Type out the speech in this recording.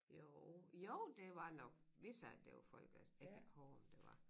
Jo jo det var nok hvis så at det var folkedans jeg kan ikke hove om det var